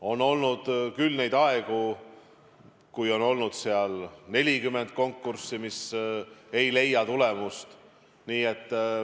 On olnud küll neid aegu, kui on olnud 40 konkurssi, mis ei toonud tulemust.